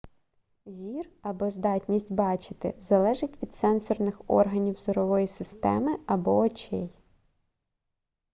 зір або здатність бачити залежить від сенсорних органів зорової системи або очей